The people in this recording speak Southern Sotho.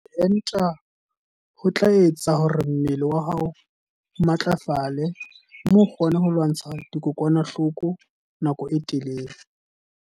Ho enta ho tla etsa hore mmele wa hao o matlafale mme o kgone ho lwantsha dikokwanahloko nako e telele.